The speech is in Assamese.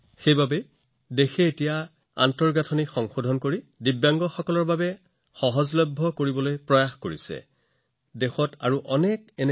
সেয়েহে দেশখনত আজিকালি দিব্যাংগসকলৰ বাবে সম্পদ আৰু আন্তঃগাঁথনি সুলভ কৰাৰ বাবে নিৰন্তৰ প্ৰচেষ্টা চলিব ধৰিছে